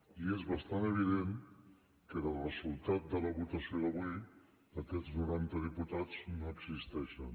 i és bastant evident que del resultat de la votació d’avui aquests noranta diputats no existeixen